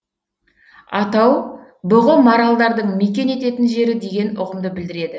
атау бүғы маралдардың мекен ететін жері деген ұғымды білдіреді